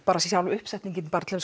sjálf uppsetningin